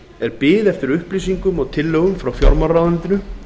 er bið eftir upplýsingum og tillögum frá fjármálaráðuneytinu